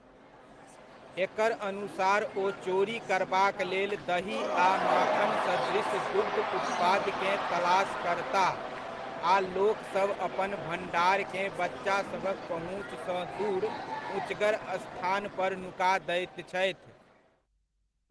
एकर अनुसार ओ चोरी करबाक लेल दही आ माखन सदृश दुग्ध उत्पादकेँ तलाश करताह आ लोकसभ अपन भण्डारकेँ बच्चासभक पहुँचसँ दूर उँचगर स्थान पर नुका दैत छथि।